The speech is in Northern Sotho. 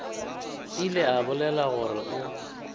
ile a bolela gore o